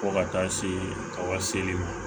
Fo ka taa se ka seli ma